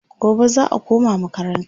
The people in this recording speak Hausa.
gobe za'a koma makaranta